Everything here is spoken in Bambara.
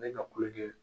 Ne ka kulonkɛ